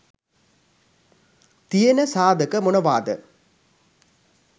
තියන සාධක මොනවාද?